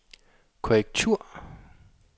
korrektur